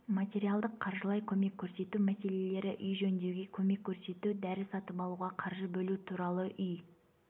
материалдық қаржылай көмек көрсету мәселелері үй жөндеуге көмек көрсету дәрі сатып алуға қаржы бөлу туралы үй